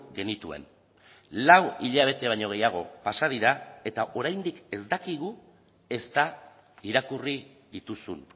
genituen lau hilabete baino gehiago pasa dira eta oraindik ez dakigu ezta irakurri dituzun